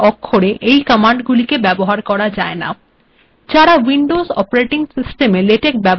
অধিকাংশ ক্ষেত্রেই লেটেক কমান্ডগুিল ছোট হাতের অক্ষরে লিখতে হয় বড়হাতের অক্ষরে এই কমান্ডগুলিকে ব্যবহার করা যায় না